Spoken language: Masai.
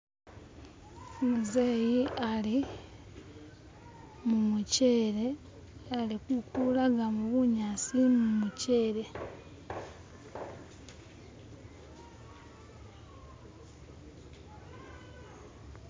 umuzeyi ali mumuchele ali kukulagamu bunyasi mumuchele